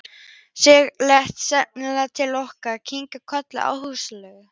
Siggi leit seinlega til okkar og kinkaði kolli áhugalaust.